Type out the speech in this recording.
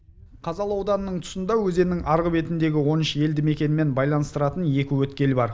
қазалы ауданының тұсында өзеннің арғы бетіндегі он үш елді мекенмен байланыстыратын екі өткел бар